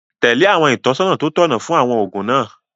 Tẹ̀lé àwọn ìtọ́sọ́nà tó tọ̀nà fún àwọn oògùn náà